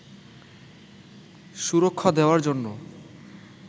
সুরক্ষা দেওয়ার জন্য